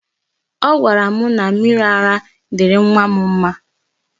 Ọ gwara m na mmiri ara dịịrị nwa m mma.